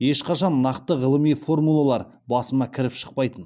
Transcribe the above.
ешқашан нақты ғылыми формулалар басыма кіріп шықпайтын